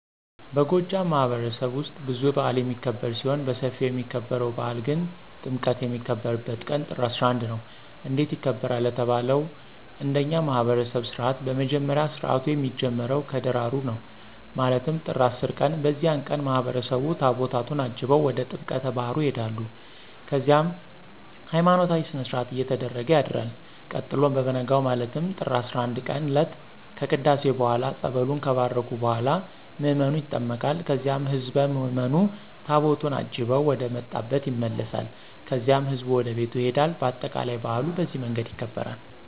በጎጃም ማህበረሰብማህበረሰብ ውስጥ ብዙ በአል የሚክብር ሲሆን በስፊው የሚከበርው በአል ግን ጥምቀት የሚከበርበት ቀን ጥር 11 ነው። እንዴት ይከበራል ለተባለው እንደኛ ማህብረሰብ ስርዓት በመጀመሪያ ስርአቱ የሚጀምረው ከደራሩ ነው ማለትም ጥር 10 ቀን በዚያን ቀን ማህበረሰቡ ታቦታቱን አጅበው ወደ ጥምቀተ ባህር ይሆዳሉ ከዚያም ሀይማኖታዊ ስነስርአት እየተደረገ ያድርል ቀጥሎ በቨነጋው ማለትም ጥር 11ቀን እለት ከቅዳሴ በኋላ ፀበሉን ከባረኩ በኋላ ምዕመኑ ይጠመቃል ከዚያም ህዝብ ምዕምኑ ታቦቱን አጅበው ወደመጣብ ይመለሳል ከዚያም ህዝቡ ወደቤቱ ይሄዳል በአጠቃላይ በአሉ በዚህ መንገድ ይከበራል።